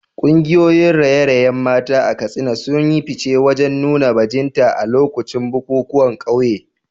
Kungiyoyin raye-rayen mata a Katsina sun yi fice wajen nuna bajinta a lokacin bukukuwan kauye.